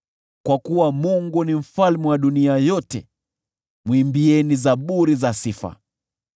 Kwa kuwa Mungu ni mfalme wa dunia yote, mwimbieni zaburi za sifa.